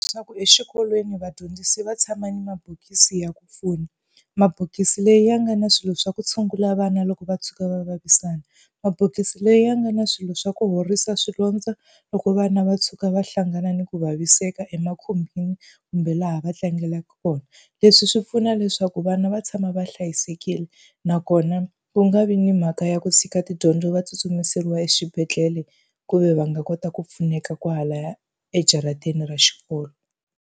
Swa ku exikolweni vadyondzisi va tshama ni mabokisi ya ku pfuna, mabokisi lawa ya nga na swilo swa ku tshungula vana loko va tshuka va vavisana, mabokisi lawa ya nga na swilo swa ku horisa swilondza loko vana va tshuka va hlangana ni ku vaviseka emakhumbini kumbe laha va tlangelaka kona. Leswi swi pfuna leswaku vana va tshama va hlayisekile, nakona ku nga vi ni mhaka ya ku tshika tidyondzo va tsutsumiseriwa exibedhlele ku ve va nga kota ku pfuneka kwalaya ejarateni ra xikolo.